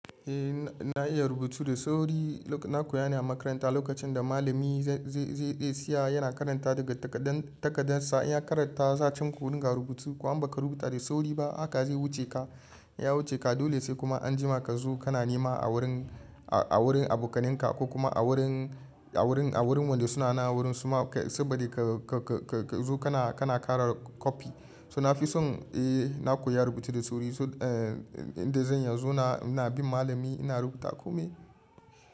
Eh na iya rubutu da sauri. Na koya ne a makaranta lokacin da malami zai je ya seya yana karanta daga takadan sa. In ya karanta za a ce ku rinƙa rubutu, kuma in ba ka rubuta da sauri ba haka zai wuce ka. Ya wuce ka dole sai kuma anjima ka zo kana nema a wurin, a wurin abokanan ka ko kuma a wurin, a wurin, a wurin wanda suna nan a wurin su ma saboda ka zo kana, kana ƙara kwafi. To na fi son eh na koya rubutu da sauri. Inda zan iya in zauna ina bin malami ina rubuta kome.